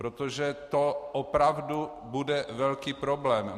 Protože to opravdu bude velký problém.